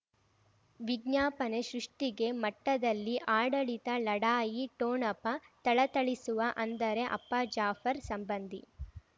ವಿಜ್ಞಾಪನೆ ಸೃಷ್ಟಿಗೆ ಮಠದಲ್ಲಿ ಆಡಳಿತ ಲಢಾಯಿ ಠೋಣಪ ಥಳಥಳಿಸುವ ಅಂದರೆ ಅಪ್ಪ ಜಾಫರ್ ಸಂಬಂಧಿ